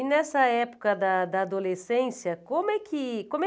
E nessa época da da adolescência, como é que como é